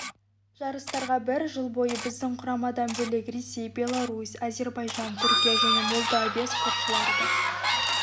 жарыстарға бір жыл бойы біздің құрамадан бөлек ресей беларусь әзербайжан түркия және молдавия спортшылары да